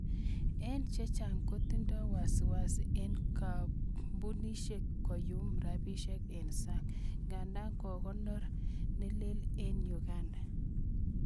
Eng chehcang kotindo wasiwasi eng kambunisiek koyum rabisiek eng sang, nigata kokonor nelel eng Uganda.